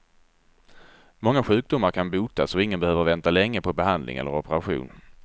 Många sjukdomar kan botas, och ingen behöver vänta länge på behandling eller operation.